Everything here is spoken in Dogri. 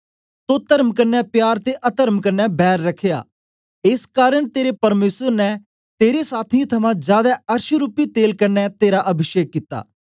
तो तर्म कन्ने प्यार ते अतर्म कन्ने बैर रखया एस कारन तेरे परमेसर ने तेरे साथियें थमां जादै अरषरूपी तेल कन्ने तेरा अभिषेक कित्ता